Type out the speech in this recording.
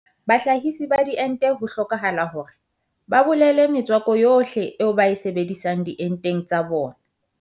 Bahlahise ba diente ho hlokahala hore ba bolele metswako yohle eo ba e sebedisang dienteng tsa bona